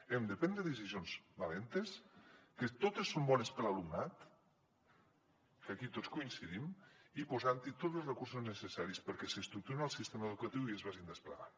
hem de prendre decisions valentes que totes són bones per a l’alumnat que aquí tots coincidim i posant hi tots los recursos necessaris perquè estructurin el sistema educatiu i es vagi desplegant